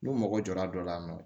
N'u mago jɔra dɔ la